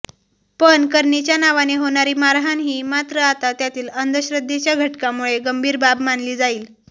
पण करणीच्या नावाने होणारी मारहाणही मात्र आता त्यातील अंधश्रध्देच्या घटकामुळे गंभीर बाब मानली जाईल